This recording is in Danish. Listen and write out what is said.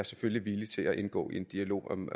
selvfølgelig villig til at indgå i en dialog om